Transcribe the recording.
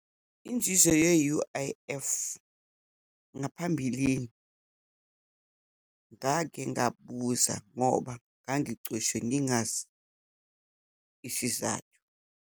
Inzuzo ye-U_I_F ngaphambilini, ngake ngabuza ngoba ngangicoshwe ngingazi isizathu.